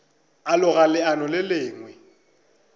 a loga leano le lengwe